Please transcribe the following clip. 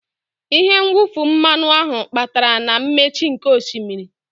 Ihe mwụfu mmanụ ahụ kpatara na mmechi nkè osimiri.